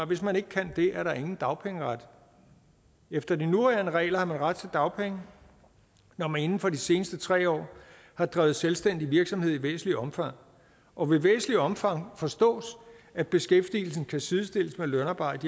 hvis man ikke kan det er der ingen dagpengeret efter de nuværende regler har man ret til dagpenge når man inden for de seneste tre år har drevet selvstændig virksomhed i væsentligt omfang og med væsentligt omfang forstås at beskæftigelsen kan sidestilles med lønarbejde